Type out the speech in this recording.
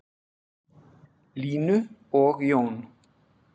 Línu og Jón.